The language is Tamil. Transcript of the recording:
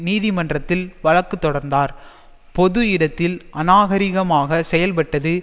நீதிமன்றத்தில் வழக்கு தொடர்ந்தார் பொது இடத்தில் அநாகரிகமாக செயல்பட்டது